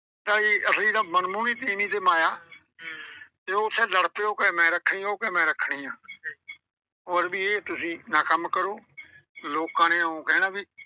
ਭਾਈ ਇੱਕ ਵਾਰੀ ਮਨਮੋਹਣੀ ਤੀਵੀਂ ਤੇ ਮਾਇਆ। ਉਹ ਉੱਥੇ ਲੜ ਪਏ। ਉਹ ਕਹੇ ਮੈਂ ਰੱਖਣੀ ਆ। ਉਹ ਕਹੇ ਮੈਂ ਰੱਖਣੀ ਆ। ਉਹ ਆਂਹਦੇ ਵੀ ਇਹ ਤੁਸੀਂ ਨਾ ਕੰਮ ਕਰੋ, ਲੋਕਾਂ ਨੇ ਇਉਂ ਕਹਿਣਾ ਵੀ।